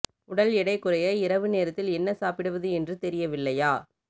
உடல் எடை குறைய இரவு நேரத்தில் என்ன சாப்பிடுவது என்று தெரியவில்லையா